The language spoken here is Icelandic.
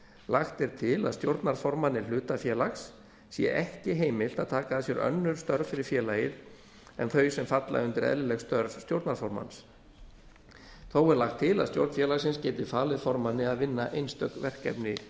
lagt er til að stjórnarformanni hlutafélags sé ekki heimilt að taka að sér önnur störf fyrir félagið en þau sem falla undir eðlileg störf stjórnarformanns þó er lagt til að stjórn félagsins gæti falið formanni að vinna einstök verkefni